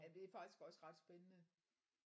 Ja det er faktisk også ret spændende